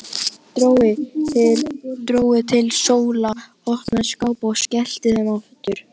Dró til stóla, opnaði skápa og skellti þeim aftur.